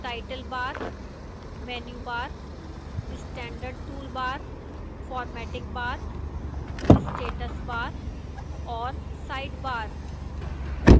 title bar menu bar standard toolbar formatting bar status bar और sidebar